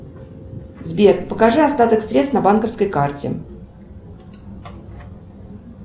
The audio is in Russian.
сбер покажи остаток средств на банковской карте